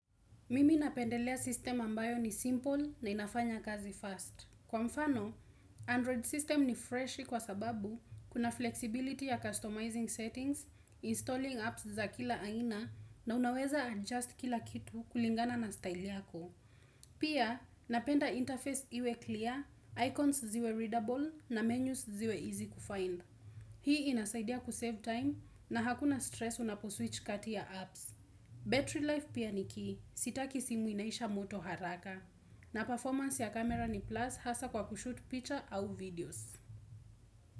Mimi napendelea system ambayo ni simple na inafanya kazi fast. Kwa mfano, Android system ni freshi kwa sababu kuna flexibility ya customizing settings, installing apps za kila aina na unaweza adjust kila kitu kulingana na style yako. Pia, napenda interface iwe clear, icons ziwe readable na menus ziwe easy kufind. Hii inasaidia kusave time na hakuna stress unaposwitch kati ya apps. Battery life pia ni key, sitaki simu inaisha moto haraka na performance ya camera ni plus hasa kwa kushoot picture au videos.